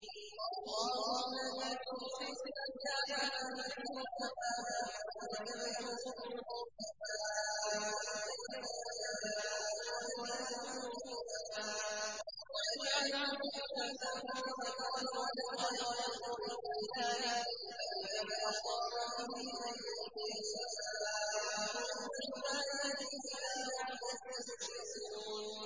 اللَّهُ الَّذِي يُرْسِلُ الرِّيَاحَ فَتُثِيرُ سَحَابًا فَيَبْسُطُهُ فِي السَّمَاءِ كَيْفَ يَشَاءُ وَيَجْعَلُهُ كِسَفًا فَتَرَى الْوَدْقَ يَخْرُجُ مِنْ خِلَالِهِ ۖ فَإِذَا أَصَابَ بِهِ مَن يَشَاءُ مِنْ عِبَادِهِ إِذَا هُمْ يَسْتَبْشِرُونَ